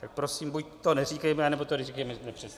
Tak prosím, buď to neříkejme, nebo to říkejme přesně.